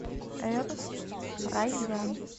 эр райян